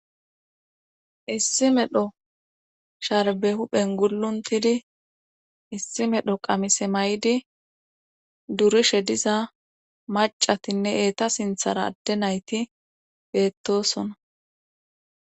issi medho sharbe huphen guluntidi issi medho qamise maydi durushe diza macatinne eeta sinthara adde nayti beettosona